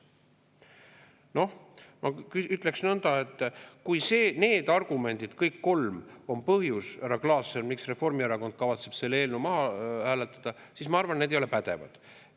Noh, ma ütleksin nõnda, et kui need argumendid, kõik kolm, on põhjus, härra Klaassen, miks Reformierakond kavatseb selle eelnõu maha hääletada, siis ma arvan, et need ei ole pädevad.